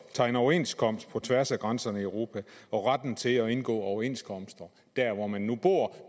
at tegne overenskomster på tværs af grænserne i europa og retten til at indgå overenskomster der hvor man nu bor